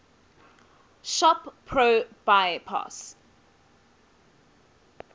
shop pro bypass